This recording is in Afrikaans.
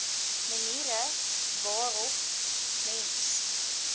maniere waarop mens